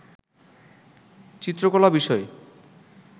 চিত্রকলা বিষয়ে